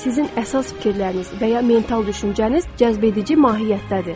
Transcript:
Sizin əsas fikirləriniz və ya mental düşüncəniz cəzbedici mahiyyətdədir.